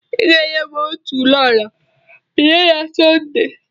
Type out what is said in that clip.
I ga-enye m otu ololo biya na Sọnde